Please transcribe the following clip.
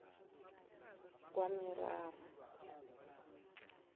kwamerara